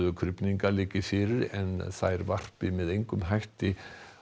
krufninga liggi fyrir en þær varpi með engum hætti